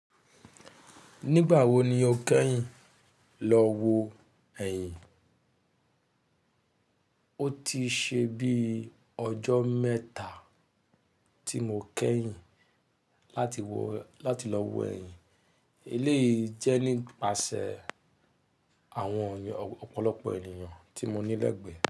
Nígbà wo ni o kẹ́yìn lọ wo ẹ̀yìn? Ó ti ṣe bí ọjọ́ mẹ́ta tí mo kẹ́yìn láti lọ wo ẹ̀yìn. Eléyìí jẹ́ nípasẹ̀ àwọn ọ̀pọ̀lọpọ̀ ènìyàn tí mo nílẹ̀gbẹ́